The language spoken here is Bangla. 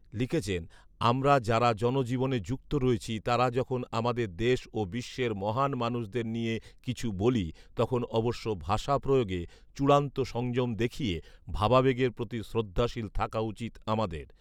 লিখেছেন, আমরা যারা জনজীবনে যুক্ত রয়েছি, তারা যখন আমাদের দেশ ও বিশ্বের মহান মানুষদের নিয়ে কিছু বলি, তখন অবশ্য ভাষা প্রয়োগে চ়ূড়ান্ত সংযম দেখিয়ে ভাবাবেগের প্রতি শ্রদ্ধাশীল থাকা উচিত আমাদের